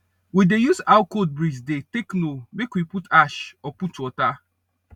we dey use how cold breeze dey take know make we put ash or put water